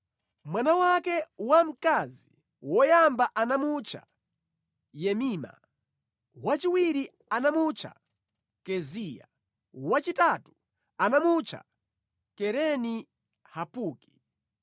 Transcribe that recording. Mwana wake wamkazi woyamba anamutcha Yemima, wachiwiri anamutcha Keziya, wachitatu anamutcha Kereni Hapuki.